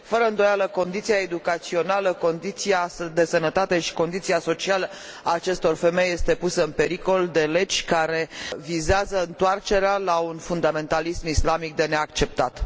Fără îndoială, condiția educațională, condiția de sănătate și condiția socială a acestor femei este pusă în pericol de legi care vizează întoarcerea la un fundamentalism islamic de neacceptat.